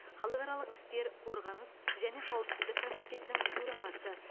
халықаралық істер қорғаныс және қауіпсіздік комитетінің төрағасы